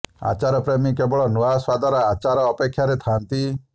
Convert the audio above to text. ଆଚାର ପ୍ରେମୀ କେବଳ ନୂଆ ସ୍ୱାଦର ଆଚାରର ଅପେକ୍ଷାରେ ଥାନ୍ତି